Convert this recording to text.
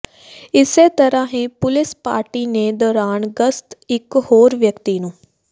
ਇਸੇ ਤਰਾਂ ਹੀ ਪੁਲਿਸ ਪਾਰਟੀ ਨੇ ਦੌਰਾਨ ਗਸ਼ਤ ਇਕ ਹੋਰ ਵਿਅਕਤੀ ਨੂੰ